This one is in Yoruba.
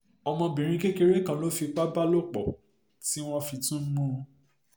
ọmọbìnrin um kékeré kan ló lọ́ọ́ fipá bá lò um pọ̀ tí wọ́n fi tún mú un